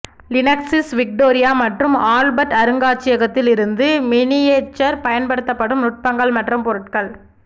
லினக்ஸில் விக்டோரியா மற்றும் ஆல்பர்ட் அருங்காட்சியகத்தில் இருந்து மினியேச்சர் பயன்படுத்தப்படும் நுட்பங்கள் மற்றும் பொருட்கள்